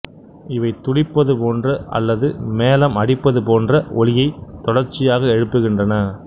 இவை துடிப்பது போன்ற அல்லது மேளம் அடிப்பது போன்ற ஒலியைத் தொடர்ச்சியாக எழுப்புகின்றன